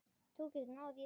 Þú getur náð í það.